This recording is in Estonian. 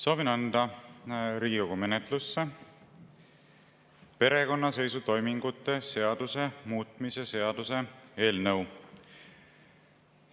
Soovin anda Riigikogu menetlusse perekonnaseisutoimingute seaduse muutmise seaduse eelnõu.